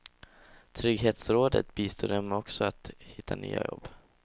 Trygghetsrådet bistår dem också med att hitta nya jobb.